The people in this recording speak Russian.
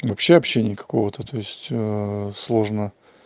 вообще общение какого-то то есть сложно